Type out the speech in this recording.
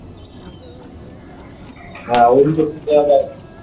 হ্যাঁ ওই দিকে তো আবার